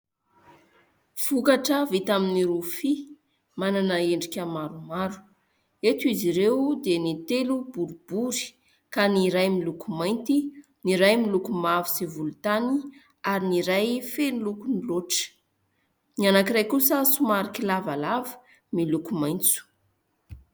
Vokatra vita amin'ny rofia manana endrika maromaro. Eto izy ireo dia ny telo boribory ka ny iray miloko mainty, ny iray miloko mavo sy volontany ary ny iray feno lokony loatra. Ny anankiray kosa somary kilavalava miloko maitso.